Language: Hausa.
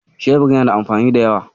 Shebir yana da amfani da yawa.